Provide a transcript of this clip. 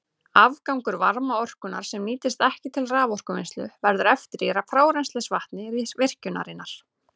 Afgangur varmaorkunnar, sem nýtist ekki til raforkuvinnslu, verður eftir í frárennslisvatni virkjunarinnar.